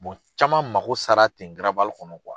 caman mako sara ten garabali kɔnɔ